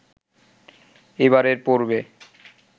এবারের পর্বে